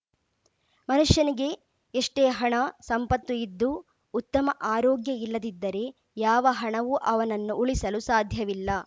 ಮನುಷ್ಯನಿಗೆ ಎಷ್ಟೇ ಹಣ ಸಂಪತ್ತು ಇದ್ದು ಉತ್ತಮ ಆರೋಗ್ಯ ಇಲ್ಲದಿದ್ದರೆ ಯಾವ ಹಣವು ಅವನನ್ನು ಉಳಿಸಲು ಸಾಧ್ಯವಿಲ್ಲ